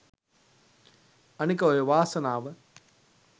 අනික ඔය වාසනාව